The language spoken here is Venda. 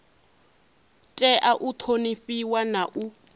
tea u ṱhonifhiwa na u